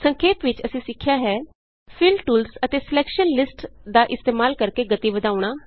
ਸੰਖੇਪ ਵਿਚ ਅਸੀਂ ਸਿੱਖਿਆ ਹੈ ਫਿਲ ਟੂਲਸ ਅਤੇ ਸਲੈਕਸ਼ਨ ਲਿਸਟ ਦਾ ਇਸਤੇਮਾਲ ਕਰਕੇ ਗਤੀ ਵਧਾਉਣਾ